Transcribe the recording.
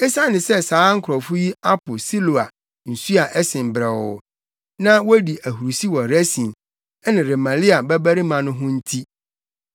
“Esiane sɛ saa nkurɔfo yi apo Siloa nsu a ɛsen brɛoo na wodi ahurusi wɔ Resin ne Remalia babarima no ho nti,